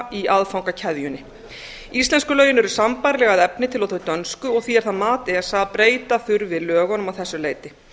í aðfangakeðjunni íslensku lögin eru sambærileg að efni til og þau dönsku og því er það mat esa að breyta þurfi lögunum að þessu leyti